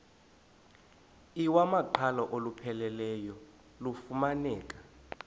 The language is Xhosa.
iwamaqhalo olupheleleyo lufumaneka